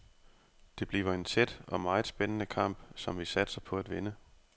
Det bliver en tæt og meget spændende kamp, som vi satser på at vinde.